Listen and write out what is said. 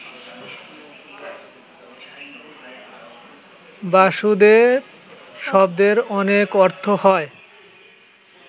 বাসুদেব শব্দের অনেক অর্থ হয়